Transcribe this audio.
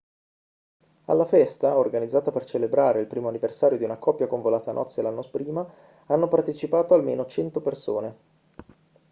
alla festa organizzata per celebrare il primo anniversario di una coppia convolata a nozze l'anno prima hanno partecipato almeno 100 persone